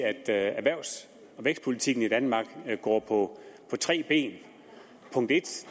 at erhvervs og vækstpolitikken i danmark går på tre ben